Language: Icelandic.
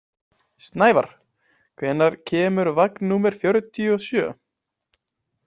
Snævarr, hvenær kemur vagn númer fjörutíu og sjö?